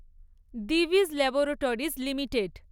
Divis Laboratories limited